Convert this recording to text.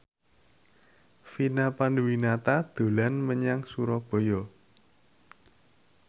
Vina Panduwinata dolan menyang Surabaya